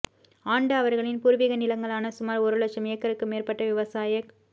ஆண்டு அவர்களின் பூர்வீக நிலங்களான சுமார் ஒரு இலட்சம் ஏக்கருக்கு மேற்பட்ட விவசாயக்